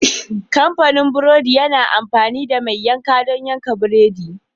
Kamfanin burodi yana amfani da mai yanka don yanka buredi.